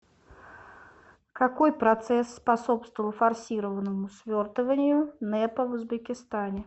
какой процесс способствовал форсированному свертыванию нэпа в узбекистане